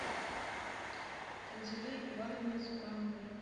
танзиле ивановне цукановой